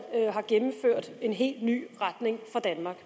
har gennemført at få en helt ny retning for danmark